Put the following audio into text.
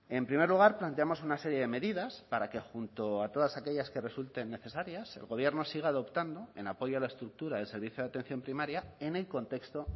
en primer lugar planteamos una serie de medidas para que junto a todas aquellas que resulten necesarias el gobierno siga adoptando en apoyo a la estructura del servicio de atención primaria en el contexto